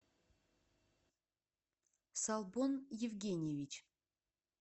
салбон евгеньевич